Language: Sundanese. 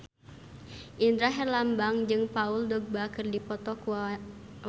Indra Herlambang jeung Paul Dogba keur dipoto ku wartawan